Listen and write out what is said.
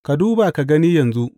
Ka duba ka gani yanzu.